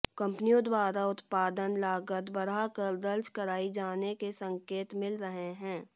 कंपनियों द्वारा उत्पादन लागत बढ़ाकर दर्ज कराई जाने के संकेत मिल रहे हैं